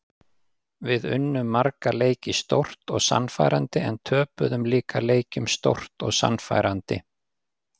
Við unnum marga leiki stórt og sannfærandi en töpuðum líka leikjum stórt og sannfærandi.